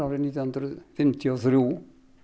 nítján hundruð fimmtíu og þrjú